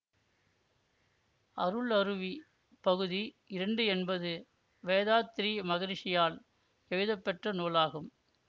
அருளருவி பகுதி இரண்டு என்பது வேதாத்திரி மகரிஷியால் எழுதப்பெற்ற நூலாகும்